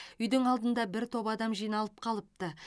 үйдің алдында бір топ адам жиналып қалыпты